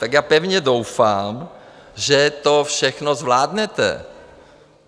Tak já pevně doufám, že to všechno zvládnete.